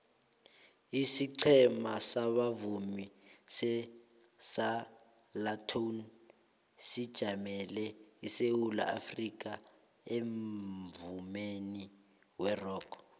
isiqhema sabavumi separlatones sijamele isewula afrikha emvumeni werock